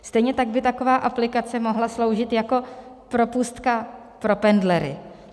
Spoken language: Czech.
Stejně tak by taková aplikace mohla sloužit jako propustka pro pendlery.